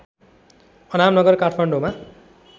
अनामनगर काठमाडौँमा